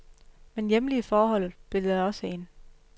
Men hjemlige forhold spillede også ind.